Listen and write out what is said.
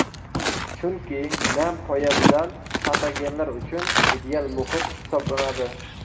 Chunki nam poyabzal patogenlar uchun ideal muhit hisoblanadi.